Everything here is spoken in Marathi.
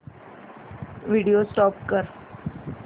व्हिडिओ स्टॉप कर